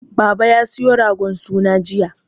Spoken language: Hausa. Baba ya siyo ragon suna jiya.